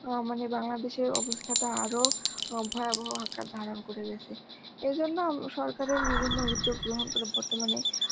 অ্যাঁ মানে বাংলাদেশের অবস্থা আরো আ ভয়াবহ আকার ধারণ করে গেসে এই জন্য আম সরকারের বিভিন্ন উদ্যোগ গ্রহণ করে বর্তমানে